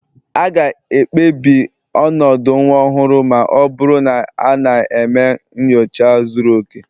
A ga-ekpebi ọnọdụ nwa ọhụrụ ma ọ bụrụ na a na-eme nyocha zuru oke